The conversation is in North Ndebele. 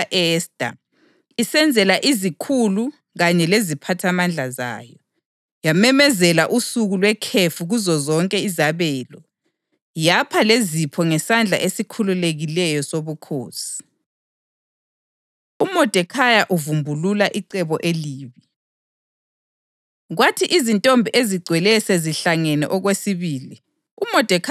Inkosi yasisenza idili elikhulu kakhulu, idili lika-Esta, isenzela izikhulu kanye leziphathamandla zayo. Yamemezela usuku lwekhefu kuzozonke izabelo, yapha lezipho ngesandla esikhululekileyo sobukhosi. UModekhayi Uvumbulula Icebo Elibi